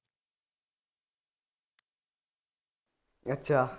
ਅੱਛਾ